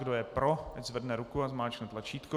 Kdo je pro, ať zvedne ruku a zmáčkne tlačítko.